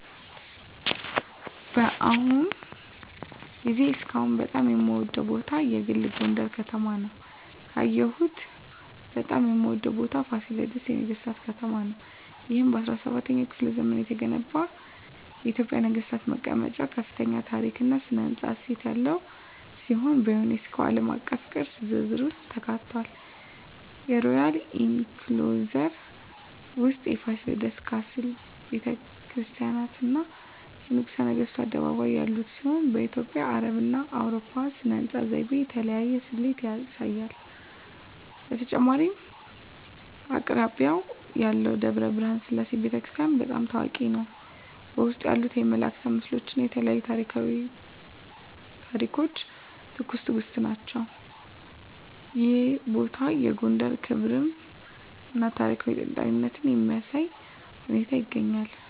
በአሁኑ ጊዜ እስካሁን በጣም የምወደዉ ቦታ የግል ጎንደረ ከተማ ውስጥ ነዉ። ካየሁት በጣም የምወደው ቦታ ፋሲለደስ የነገሥታት ከተማ ነው። ይህ በ17ኛው ክፍለ ዘመን የተገነባ የኢትዮጵያ ነገሥታት መቀመጫ ከፍተኛ የታሪክ እና ሥነ ሕንፃ እሴት ያለው ሲሆን፣ በዩኔስኮ ዓለም አቀፍ ቅርስ ዝርዝር ውስጥ ተካትቷል። የሮያል ኢንክሎዜር ውስጥ የፋሲለደስ ካስል፣ ቤተ ክርስቲያናት፣ እና የንጉሠ ነገሥቱ አደባባይ ያሉት ሲሆን፣ በኢትዮጵያ፣ አረብና አውሮፓዊ ሥነ ሕንፃ ዘይቤ የተለያየ ስሌት ያሳያል። በተጨማሪም አቅራቢያው ያለው ደብረ ብርሃን ሰላም ቤተ ክርስቲያን** በጣም ታዋቂ ነው፣ በውስጡ ያሉት የመላእክት ምስሎች እና የተለያዩ ታሪኳዊ ታሪኮች ትኩስ ትእግስት ናቸው። ይህ ቦታ የጎንደርን ክብራም እና ታሪካዊ ጥንታዊነት በሚያሳይ ሁኔታ ይገኛል።